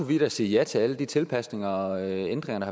vi da sige ja til alle de tilpasninger og ændringer